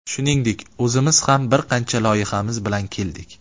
Shuningdek, o‘zimiz ham bir qancha loyihamiz bilan keldik.